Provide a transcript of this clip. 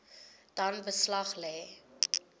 dan beslag lê